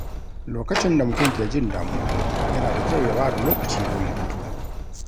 Lokacin da mutum ke jin damuwa, yana da kyau ya ware lokaci don hutu.